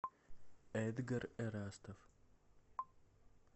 эдгар эрастов